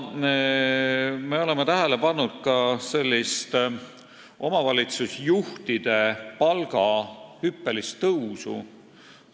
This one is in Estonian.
Me oleme tähele pannud ka omavalitsusjuhtide palga hüppelist tõusu.